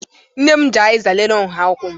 Nne m ji azịza lelee nha ụkwụ m